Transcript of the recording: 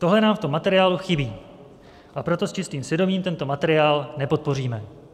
Tohle nám v tom materiálu chybí, a proto s čistým svědomím tento materiál nepodpoříme.